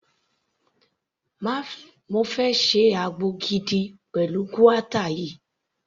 Mo fẹ́ ṣe àgbo gidi pẹ̀lú guata yìí.